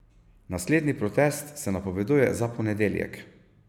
Naslednji protest se napoveduje za ponedeljek.